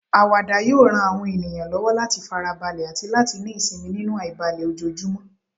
Àwàdà yóò ran àwọn ènìyàn lọ́wọ́ láti fara balẹ̀ àti láti ní ìsinmi nínú àìbalẹ̀ ojoojúmọ́.